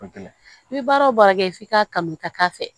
I bɛ baara o baara kɛ f'i k'a kanu ka k'a fɛ